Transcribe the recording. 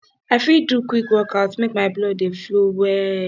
i fit do quick workout make my blood dey flow well